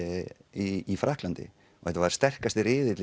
í Frakklandi og þetta var sterkasti riðillinn